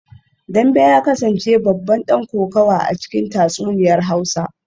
Dambe ya kasance babban dan kokawa a cikin tatsuniyar hausa